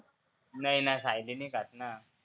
नाही ना सायली नाही खात ना.